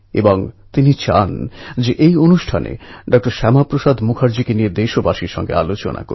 এই অভিনব অনুষ্ঠান সম্পর্কে দেশের বাকি মানুষ জানুক তাই বারী উৎসব সম্বন্ধে আরও কিছু জানান